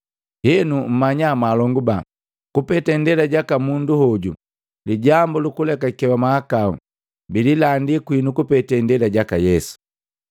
Henu, mmanya mwaalonguba, kupete ndela jaka mundu hoju lijambu lukulekakewa mahakahu bililandi kwinu kupete indela jaka Yesu,